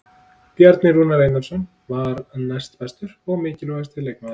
Bjarni Rúnar Einarsson var næstbestur og mikilvægasti leikmaðurinn.